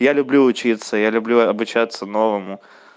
я люблю учиться я люблю обучаться новому